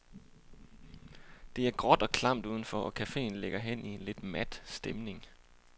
Det er gråt og klamt uden for, og cafeen ligger hen i en lidt mat stemning.